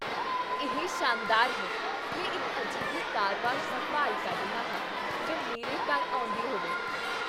ਇਹ ਸ਼ਾਨਦਾਰ ਹੈ! ਮੈਂ ਇੱਕ ਅਜਿਹੇ ਕਾਰ ਵਾਸ਼ ਦੀ ਭਾਲ ਕਰ ਰਿਹਾ ਹਾਂ ਜੋ ਮੇਰੇ ਘਰ ਆਉਂਦੀ ਹੋਵੇ।